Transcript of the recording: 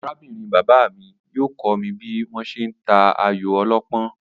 Aráb̀nrin bàbá mi yóò kó̩ mi bí wó̩n s̩e ń ta ayò o̩ló̩pó̩n